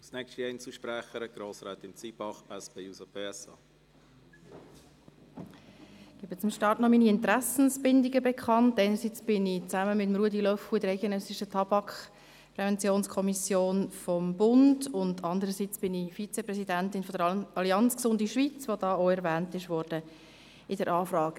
Ich bin einerseits gemeinsam mit Ruedi Löffel in der Eidgenössischen Kommission für Tabakprävention (EKTP) des Bundes, und andererseits bin ich Vizepräsidentin der Allianz «Gesunde Schweiz», die in der Anfrage ebenfalls erwähnt worden ist.